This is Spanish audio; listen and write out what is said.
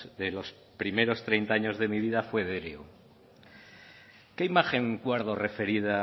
de los primeros treinta años de mi vida fue derio qué imagen guardo referida